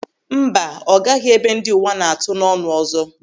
Mba, ọ gaghị ebe ndị uwa na-atụ n'ọnụ ọzọ.